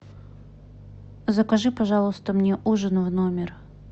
закажи пожалуйста мне ужин в номер